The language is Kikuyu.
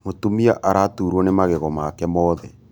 Mūtumia araturwo nī magego make mothe